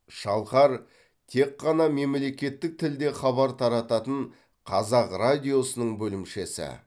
шалқар тек қана мемлекеттік тілде хабар тарататын қазақ радиосының бөлімшесі